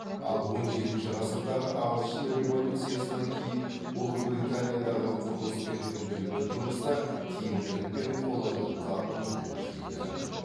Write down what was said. ал он жетінші ғасырдағы ағылшын революциясынан кейін ұлыбританиядағы құрылыс пен күнделікті тұрмыста тиімділік пен қолайлылыққа ұмтылу күшейді